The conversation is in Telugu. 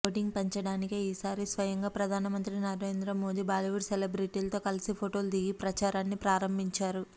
ఓటింగ్ పెంచడానికే ఈసారి స్వయంగా ప్రధానమంత్రి నరేంద్ర మోదీ బాలీవుడ్ సెలబ్రిటీలతో కలిసి ఫొటోలు దిగి ప్రచారాన్ని ప్రారంభించారు